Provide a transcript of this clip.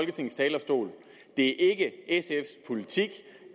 det